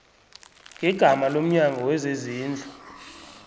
ngegama lomnyango wezezindlu